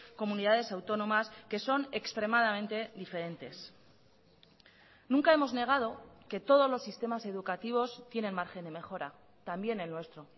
comunidades autónomas que son extremadamente diferentes nunca hemos negado que todos los sistemas educativos tienen margen de mejora también el nuestro